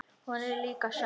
Hún er líka sönn.